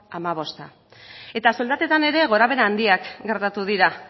hamabosta eta soldatetan ere gorabehera handiak gertatu dira